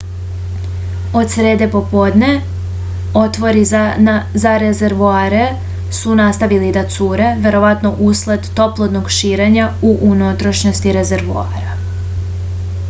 od srede popodne otvori za rezervoare su nastavili da cure verovatno usled toplotnog širenja u unutrašnjosti rezervoara